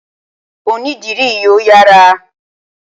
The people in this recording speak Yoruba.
Onídìrí yìí ò yára.